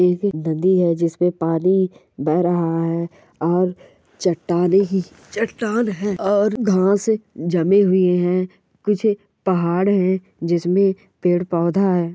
नदी है जिसमें पानी बह रहा है और चट्टाने ही चट्टान है और घास जमी हुई है कुछ पहाड़ है | जिसमे पेड़ पौधा हे |